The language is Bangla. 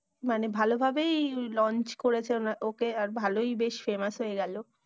মানে ভালো ভাবেই launch করেছে ওকে, আর ভালোই বেশ famous হয়ে গেলো।